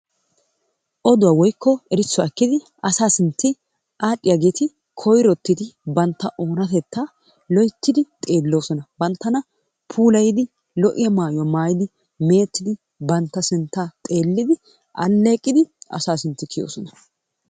Oduwaa woyko erisuwaa oykiddi asaa sintti ardhiyagetti banttaa onattetta loyttidi xelosonna, bantanna pulayiddi, lo'iyaa mayuwaa mayidi, mettiddi banttaa sinttaa xeliddi, aleqiddi asa sintti kiyosonnaa.